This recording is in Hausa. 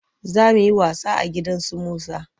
Za mu yi wasa a gidan su Musa.